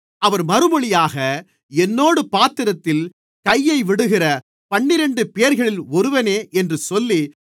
அவர் மறுமொழியாக என்னோடு பாத்திரத்தில் கையைவிடுகிற பன்னிரண்டுபேர்களில் ஒருவனே என்று சொல்லி